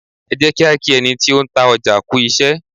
Ẹ jẹ́ kí á kí ẹni tí ó ń ta ọjà kú iṣẹ́.